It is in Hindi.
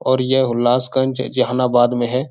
और यह हुल्लासगंज ज जहानाबाद में है।